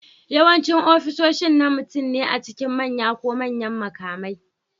Yawancin ofisoshi na mutum ne a cikin manya ko manyan mukamai